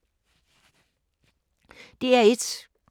DR1